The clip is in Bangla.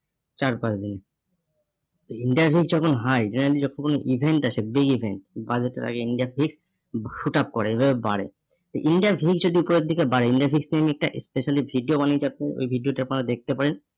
চার পাঁচ দিনে। interview যখন হয় generally যখন event আসে big event বাজেটের আগে India ঠিক shoot up করে, এভাবে বাড়ে। India fees যদি ওপরের দিকে বাড়ে, industry টা specially ভিডিও বানিয়ে আপনি ওই ভিডিওটা আপনারা দেখতে পারেন।